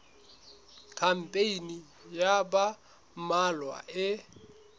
khampani ya ba mmalwa e